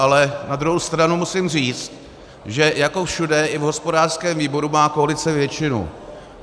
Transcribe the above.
Ale na druhou stranu musím říct, že jako všude, i v hospodářském výboru má koalice většinu.